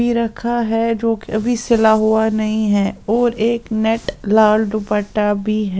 भी रखा है जो अभी सिला हुआ नहीं है और एक नेट लाल दुपट्टा भी--